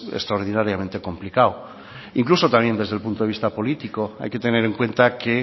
extraordinariamente complicado e incluso también desde el punto de vista político hay que tener en cuenta que